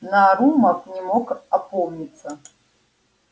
нарумов не мог опомниться